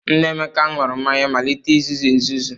Nna Emeka ṅụrụ mmanya malite izuzu ezuzu.